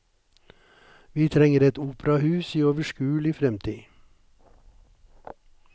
Vi trenger et operahus i overskuelig fremtid.